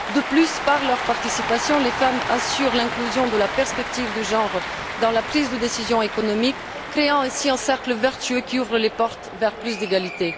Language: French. De plus, par leur participation, les femmes assurent l'inclusion de la perspective de genre dans la prise de décisions économiques, créant ainsi un cercle vertueux qui ouvre la porte à plus d'égalité.